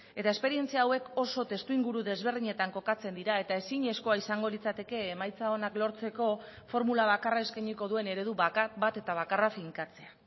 eta esperientzia hauek oso testuinguru desberdinetan kokatzen dira eta ezinezkoa izango litzateke emaitza onak lortzeko formula bakarra eskainiko duen eredu bakar bat eta bakarra finkatzea